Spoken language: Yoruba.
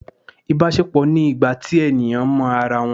ibaṣepọ ni ìgbà tí eníyan mọ ará wón